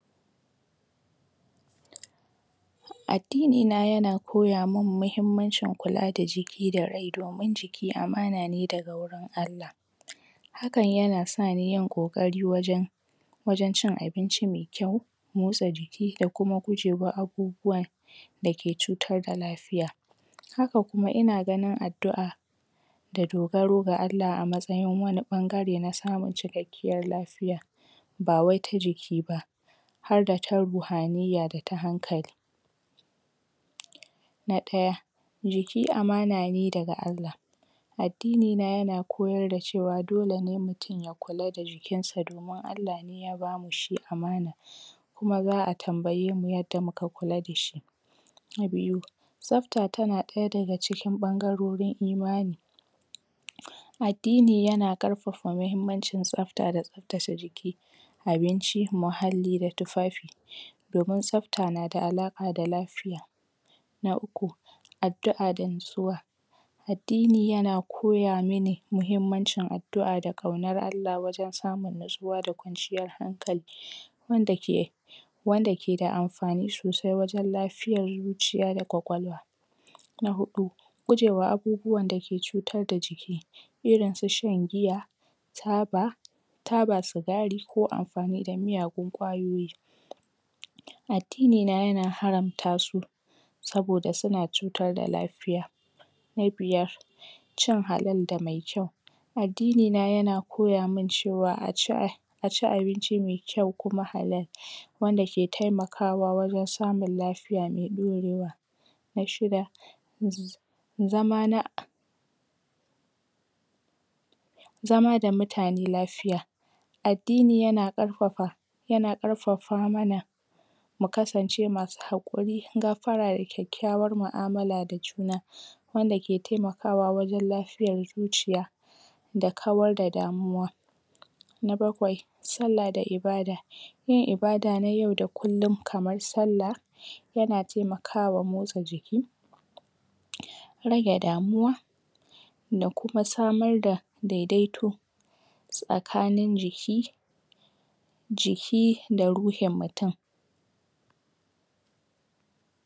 pause addini na yana koya min muhimmanci kula da jiki da rai domin jiki amana ne daga wurin Allah hakan yana sani yin ƙokari wajen wajen cin abinci me kyau motsa jiki, da kuma gujewa abubuwan dake cutar da lafiya haka kuma ina ganin addua'a da dogaro ga ga Allah a matsayin wani ɓangare na samun cikakkiyar lafiya ba wai ta jiki ba harda ta ruhaniyya da kuma hankali na ɗaya jiki amana ne daga Allah addini na yana koyar da cewa dole ne mutum ya kula da jikinsa domin Allah ne ya bamu shi amana kuma za'a tambayemu yanda muka kula dashi na biyu tsafta tana daya daga cikin ɓangarorin imani um addini yana ƙarfafa mahimmancin tsafta da tsaftace jiki abinci, muhalli, da tufafi domin tsafta nada alaƙa da lafiya na uku addu'a da nutsuwa addini yana koya mini muhimmancin addua'a da ƙaunar Allah wurin samun nutsuwa da kwanciyar hankali wanda ke wanda keda amfani sosai wajen lafiyar zuciya da kwakwalwa na huɗu gujewa abubuwan da ke cutar da jiki irin su shan giya, taba taba sigari ko amfani da miyagun kwayoyi addini na yana haramta su saboda suna cutar da lafiya na biyar cin halal da mai kyau addinina yana kpya min cewa aci ah aci abinci mai kyau kuma halal wanda ke taimakawa wajen samun lafiya mai dorewa na shida zzzz zama na ah zama da mutane lafiya addini yana ƙarfafa yana karfafa mana mu kasance masu hakuri, gafara, da kyakykyawan mu'amala da juna wanda ke temakawa wajen lafiyar zuciya da kawar da damuwa na bakwai sallah da ibadah yin ibada na yau da kullum kamar sallah yana taimakawa motsa jiki um rage damuwa da kuma samar daɓ dedeto ss tsakanin jiki jiki da ruhin mutum pause